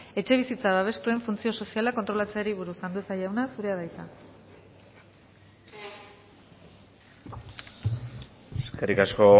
etxebizitza babestuen funtzio soziala kontrolatzeari buruz andueza jauna zurea da hitza eskerrik asko